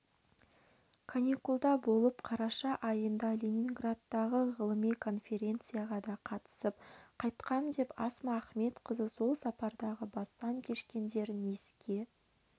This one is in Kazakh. каникулда болып қараша айында ленинградттағы ғылыми конференцияға да қатысып қайтқам деп асма ахметқызы сол сапардағы бастан кешкендерін еске